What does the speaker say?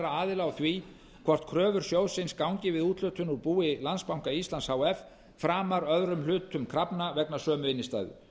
aðila á því hvort kröfur sjóðsins gangi við úthlutun úr búi landsbanka íslands h f framar öðrum hluta krafna vegna sömu innstæðu